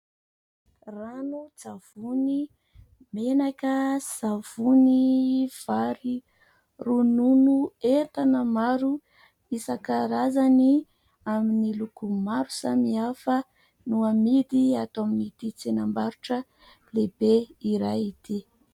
Ranon-tsavony, menaka, savony, vary, ronono entana maro isan-karazany amin'ny loko maro samihafa no amidy atao amin'ity tsenam-barotra lehibe iray ity.